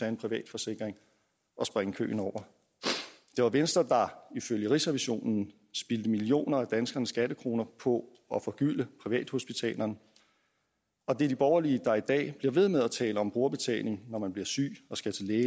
en privat forsikring og springe køen over det var venstre der ifølge rigsrevisionen spildte millioner af danskernes skattekroner på at forgylde privathospitalerne og det er de borgerlige der i dag bliver ved med at tale om brugerbetaling når man bliver syg og skal til